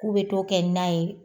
K'u be to kɛ na ye.